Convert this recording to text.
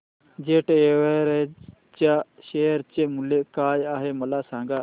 jet Airways च्या share चे मूल्य काय आहे मला सांगा